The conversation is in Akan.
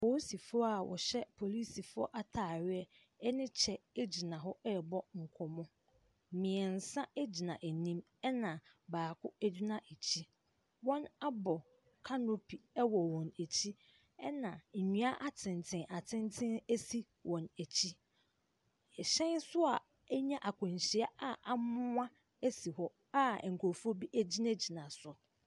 Polisifoɔ a wɔhyɛ polisifoɔ ataare ne gyina hɔ ɛrebɔ nkɔmmɔ, mmiɛnsa gyina anim na baako gyina akyi. Wɔabɔ canopy wɔ wɔn akyi na nnua atenten atenten a si wɔn akyi. Hyan so anya akwanhyia a amoa si hɔ a nkurɔfoɔ bi gyinagyina soɔ.